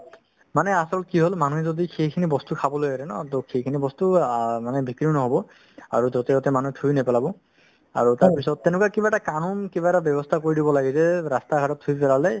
মানে আচল কি হ'ল মানুহে যদি সেইখিনি বস্তু খাবলৈ এৰে ন to সেইখিনি বস্তু আ মানে বিক্ৰীও নহ'ব আৰু য'তে-ত'তে মানুহই থুই নেপেলাব আৰু তাৰপিছত তেনেকুৱা কিবা এটা kanoon কিবা এটা ব্যৱস্থা কৰি দিব লাগে যে ৰাস্তা-ঘাটত থুই পেলালে